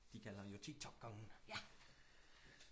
de kaldte ham jo tiktok kongen